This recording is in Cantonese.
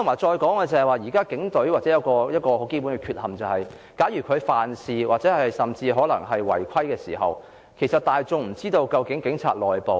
再者，現時警隊有一個很基本的缺陷，就是假如警員犯事甚或違規，大眾其實無法知道警察內部......